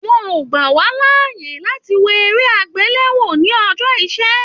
Wọn o gba wa láàyè láti wò eré agbelewo ní ọjọ iṣẹ.